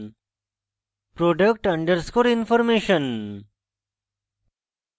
product underscore information